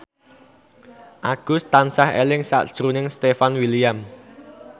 Agus tansah eling sakjroning Stefan William